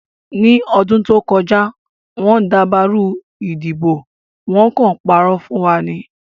Ní ọdún tó kọjá, wọ́n dàbàrú ìdìbò, wọ́n kàn ń parọ́ fún wa ni